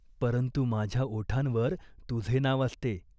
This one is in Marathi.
"परंतु माझ्या ओठांवर तुझे नाव असते.